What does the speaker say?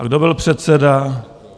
A kdo byl předseda?